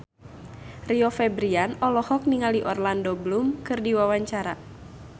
Rio Febrian olohok ningali Orlando Bloom keur diwawancara